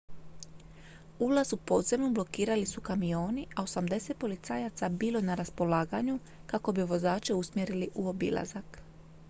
ulaz u podzemnu blokirali su kamioni a 80 policajaca bilo je na raspolaganju kako bi vozače usmjerili u obilazak